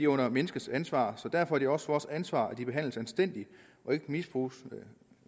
under menneskenes ansvar så derfor er det også vores ansvar at de behandles anstændigt og ikke misbruges